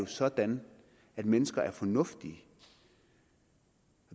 sådan at mennesker er fornuftige